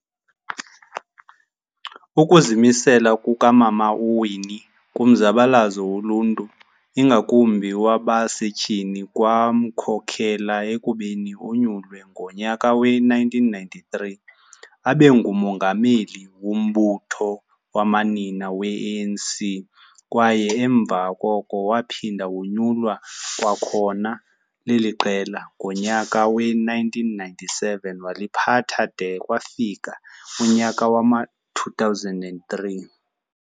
Ukuzimisela kukamama uWinne kumzabalazo woluntu ingakumbi owabasetyhini, kwamkhokhela ekubeni onyulwe ngonyaka we-1993 abengumongameli wombutho wamanina we-ANC kwaye emva koko waphinda wonyulwa kwakhona leliqela ngonyaka we-1997 waliphatha de kwafika unyaka wama-2003.